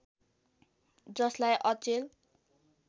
जसलाई अचेल